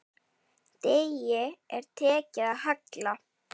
Degi er tekið að halla.